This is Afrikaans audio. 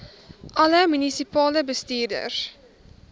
alle munisipale bestuurders